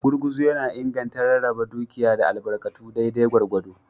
Gurguzu yana inganta rarraba dukiya da albarkatu daidai gwargwado.